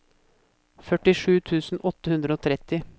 førtisju tusen åtte hundre og tretti